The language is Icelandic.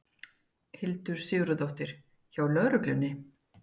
Hildur Sigurðardóttir: Hjá lögreglunni?